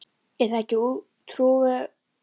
Er það ekki trúverðugasta vitnið?